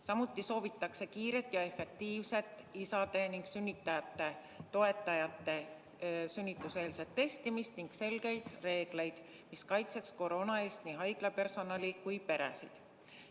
Samuti soovitakse kiiret ja efektiivset isade ning muude sünnitajate toetajate sünnituseelset testimist ning selgeid reegleid, mis kaitseks koroona eest nii haiglapersonali kui ka peresid.